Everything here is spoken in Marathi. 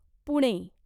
पुणे